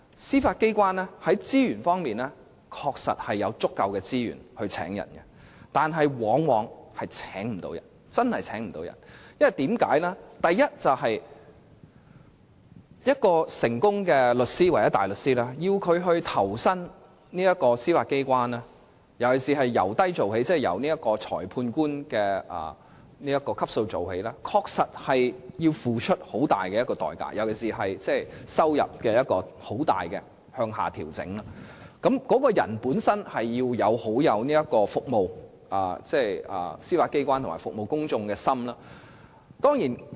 司法機關確實有足夠的資源招聘法官，但卻往往請不到人，原因是要一位成功的律師或大律師投身司法機關，而且要由低做起，即由裁判官的職級開始，確實要付出很大的代價，尤其是收入方面會大幅向下調整，所以他們必須要有服務司法機關及市民大眾的心。